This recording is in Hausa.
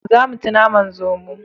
Za mu ci naman zomo